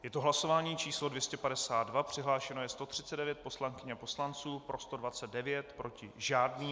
Je to hlasování číslo 252, přihlášeno je 139 poslankyň a poslanců, pro 129, proti žádný.